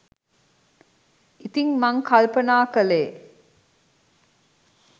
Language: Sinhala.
ඉතින් මං කල්පනා කළේ